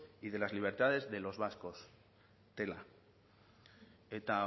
y de las libertades de los vascos tela eta